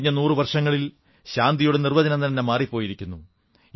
കഴിഞ്ഞ നൂറു വർഷങ്ങളിൽ ശാന്തിയുടെ നിർവ്വചനം തന്നെ മാറിപ്പോയി